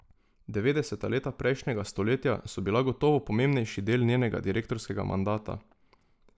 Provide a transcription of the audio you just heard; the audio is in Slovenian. Devetdeseta leta prejšnjega stoletja so bila gotovo pomembnejši del njenega direktorskega mandata.